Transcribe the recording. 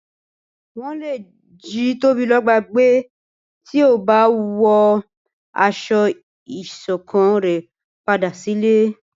wọn lé jí Tobiloba gbé tí o ba wọ aṣọ ìṣọ̀kan re padà sí ilé